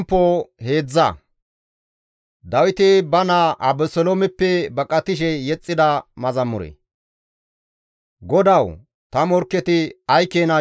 GODAWU! Ta morkketi ay keena corattidoo! Ta bolla aappunati dendidoo!